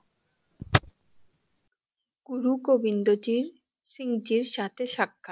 গুরু গবিন্দ জির সিং জির সাথে সাক্ষাৎ